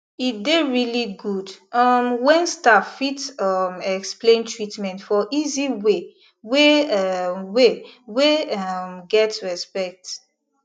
e dey really good um when staff fit um explain treatment for easy way wey um way wey um get respect